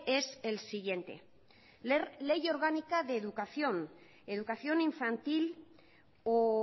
es el siguiente ley orgánica de educación educación infantil o